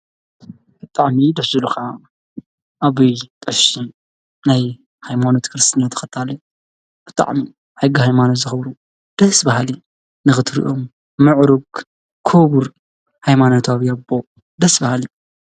እጥዕሚ ድዙሉኻ ኣብይ ጠሽ ናይ ኃይሞኖት ክርስትኒ ተኸታል ብጥዕሚ ኣይጊ ሕይማኖት ዝኸብሩ ደስ ባሃሊ ንኽትርእኦም ምዕሩግ ክቡር ኃይማኖት ኣብ ኣቦ ደስ በሃሊ እዩ።